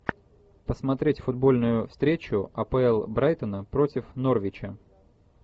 посмотреть футбольную встречу апл брайтона против норвича